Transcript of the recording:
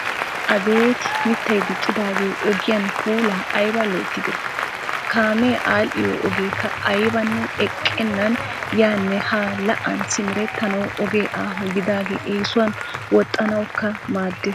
Abeeti miitay diiccidaagee ogiyaa puulaa ayba loyttidee! kaamee adhiyoo ogeekka aybanne eqennan yaanne haa la'an simerettanawu ogee aaho gidaagee eesuwaan woxxanawukka maaddees.